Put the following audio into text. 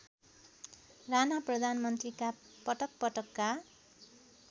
राणा प्रधानमन्त्रीका पटकपटकका